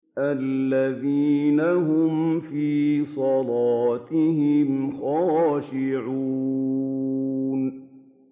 الَّذِينَ هُمْ فِي صَلَاتِهِمْ خَاشِعُونَ